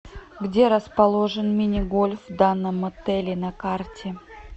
где расположен мини гольф в данном отеле на карте